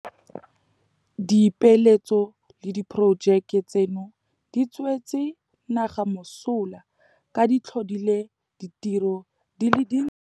Dipeeletso le diporojeke tseno di tswetse naga mosola ka di tlhodile ditiro di le dintsi.